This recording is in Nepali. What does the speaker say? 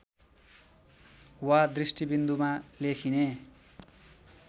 वा दृष्टिबिन्दुमा लेखिने